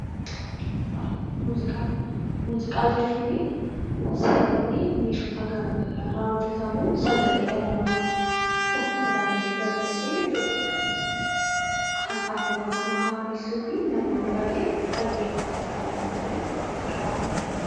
Muuziqaa. Muuziqaa jechuun sagalee meeshota gara garaa irraa hojjetamu, sagalee dhala namaa ofitti dabalatee jechuu dha, kan hafuura namaa haaressuu fi namoonni baay'een dhaggeeffatanii ittiin gammadan 'Muuziqaa' jedhama.